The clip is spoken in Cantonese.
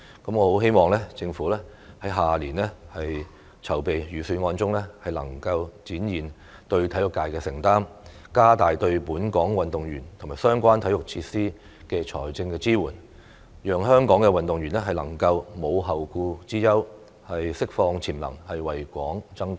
我很希望政府明年籌備預算案時能展現對體育界的承擔，加大對本港運動員和相關體育設施的財政支援，讓香港運動員能夠無後顧之憂，釋放潛能，為港爭光。